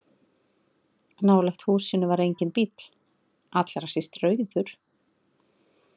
Nálægt húsinu var enginn bíll, allra síst rauður.